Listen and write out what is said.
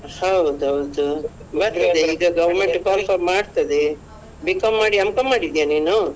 ಹೌದೌದು ಬರ್ತದೆ ಈಗ government call for ಮಾಡ್ತದೆ B.Com ಮಾಡಿ M.Com ಮಾಡಿದ್ಯಾ ನೀನು?